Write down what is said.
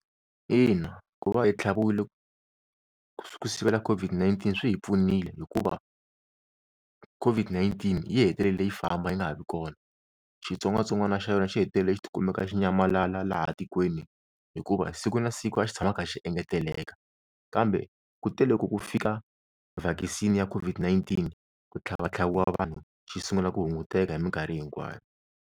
Ina ku va hi tlhaviwile ku sivela COVID-19 swi pfunile hikuva COVID-19 yi hetelele yi famba yi nga ha vi kona, xitsongwatsongwana xa yona xi hetelele xi ti kumeka xi nyamalala laha tikweni, hikuva siku na siku a xi tshama kha xi engeteleka kambe ku te le loko ku fika vhakisini ya COVID-19 ku tlhavatlhaviwa vanhu xi sungula ku hunguteka hi minkarhi hinkwayo.